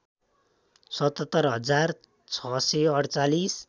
७७ हजार ६४८